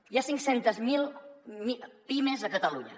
hi ha cinc cents miler pimes a catalunya